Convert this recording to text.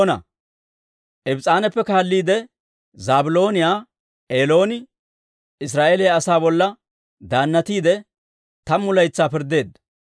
Ibs's'aanappe kaalliide, Zaabilooniyaa Elooni Israa'eeliyaa asaa bolla daannatiide, tammu laytsaa pirddeedda.